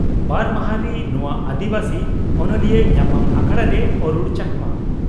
ᱵᱟᱨ ᱢᱟᱦᱟ ᱨᱤ ᱱᱚᱣᱟ ᱟᱹᱫᱤᱵᱟᱹᱥᱤ ᱚᱱᱚᱞᱤᱭᱟᱹ ᱧᱟᱯᱟᱢ ᱟᱠᱷᱲᱟᱨᱮ ᱚᱨᱩᱲ ᱪᱚᱠᱢᱟ (ᱪᱚᱠᱢᱟ)